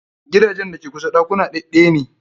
Gidajen a ke kusa ɗakuna ɗaɗɗaya ne.